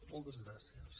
moltes gràcies